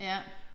Ja